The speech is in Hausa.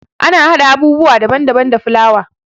Ana haɗa abubuwa daban daban da fulawa.